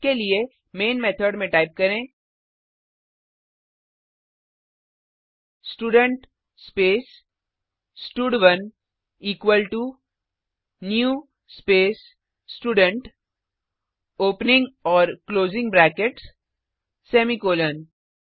इसके लिए main method में टाइप करें स्टूडेंट स्पेस स्टड1 equal to new space student opening और क्लोजिंग ब्रैकेट्स सेमीकॉलन